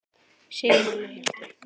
Sigrún og Hjalti.